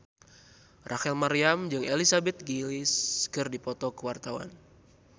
Rachel Maryam jeung Elizabeth Gillies keur dipoto ku wartawan